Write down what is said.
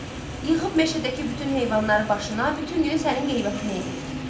Yığıb meşədəki bütün heyvanları başına, bütün günü sənin qeybətini eləyir.